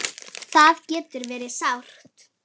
Það getur verið sárt.